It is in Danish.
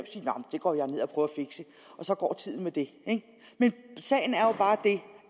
og så går tiden med det men sagen er bare den